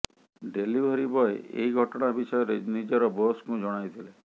delivery boy ଏହି ଘଟଣା ବିଷୟରେ ନିଜର ବୋସ୍କୁ ଜଣାଇଥିଲେ